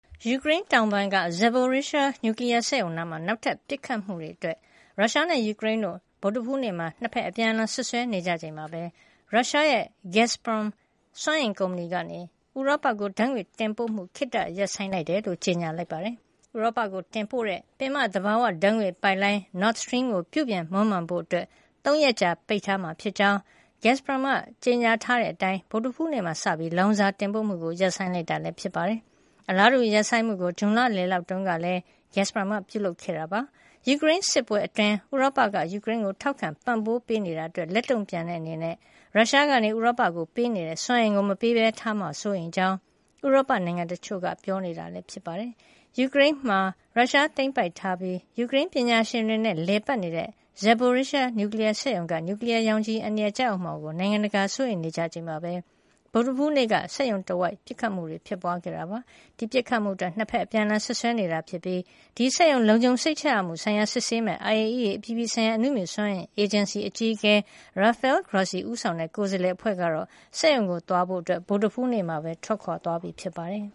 ယူကရိန်းတောင်ပိုင်းက Zaporizhzhia နျူကလီယား စက်ရုံနား နောက်ထပ်ပစ်ခတ်မှုတွေအတွက် ရုရှားနဲ့ ယူကရိန်းတို့ ဗုဒ္ဓဟူးနေ့မှာ အပြန်အလှန်စွပ်စွဲနေကြချိန် မှာပဲ ရုရှားရဲ့ Gazprom စွမ်းအင်ကုမ္ပဏီက ဥရောပကို ဓါတ်ငွေ့တင်ပို့မှု ခေတ္တရပ်ဆိုင်းလိုက်ကြောင်း ကြေညာပါတယ်။ ဥရောပကိုပို့တဲ့ ပင်မသဘာဝဓါတ်ငွေ့ပိုက်လိုင်း Nord Stream ကို ပြုပြင်မွမ်းမံဖို့ ၃ ရက်ကြာပိတ်ထားမှာ ဖြစ်ကြောင်း Gazprom က ကြေညာထားတဲ့အတိုင်း ဗုဒ္ဓဟူးနေ့မှာ စပြီး ဓါတ်ငွေ့တင်ပို့မှုကို ရပ်ဆိုင်းလိုက်တာ ဖြစ်ပါတယ်။ အလားတူ ရပ်ဆိုင်းမှုကို ဇွန်လလယ်တုန်းကလည်း Gazprom က ပြုလုပ်ခဲ့တာပါ။ ယူကရိန်းစစ်ပွဲအတွင်း ဥရောပက ယူကရိန်းကို ထောက်ခံပံ့ပိုးပေးနေတာအတွက် လက်တုံ့ပြန်တဲ့အနေနဲ့ ရုရှားက ဥရောပကိုပေးနေတဲ့စွမ်းအင်ကို မပေးပဲထားမှာကို စိုးရိမ်ကြောင်း ဥရောပနိုင်ငံတချို့က ပြောကြားနေပါတယ်။ ယူကရိန်းမှာ ရုရှားသိမ်းပိုက်ထားပြီး ယူကရိန်းပညာရှင်တွေနဲ့ လည်ပတ်နေတဲ့ Zaporizhzhia နျူကလီယားစက်ရုံက နျူကလီယားရောင်ခြည် အန္တရာယ်ကျရောက်မှာကို နိုင်ငံတကာက စိုးရိမ်နေကြချိန်မှာပဲ ဗုဒ္ဓဟူးနေ့က စက်ရုံတဝိုက် ပစ်ခတ် မှုတွေ ဖြစ်ပွါးခဲ့တာပါ။ ဒီပတ်ခတ်မှုအတွက် ၂ ဘက် အပြန်အလှန်စွပ်စွဲနေကြတာဖြစ်ပြီး ဒီစက်ရုံ လုံခြုံစိတ်ရမှုဆိုင်ရာ စစ်ဆေးမယ့် IAEA အပြည်ပြည်ဆိုင်ရာ အနုမြူစွမ်းအင် အေဂျင်စီ အကြီးအကဲ Rafael Grossi ဦးဆောင်တဲ့ ကိုယ်စားလှယ် အဖွဲ့ကတော့ စက်ရုံကို သွားဖို့ ဗုဒ္ဓဟူးနေ့မှာ ထွက်ခွါသွားပြီဖြစ်ပါတယ်